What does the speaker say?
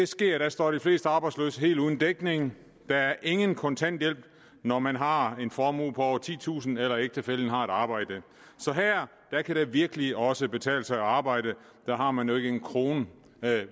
sker det står de fleste arbejdsløse helt uden dækning der er ingen kontanthjælp når man har en formue på over titusind kroner eller ægtefællen har et arbejde så her kan det virkelig også betale sig at arbejde der har man jo ikke en krone